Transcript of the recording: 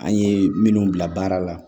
An ye minnu bila baara la